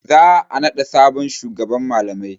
Za a naɗa sabon shugaban malamai.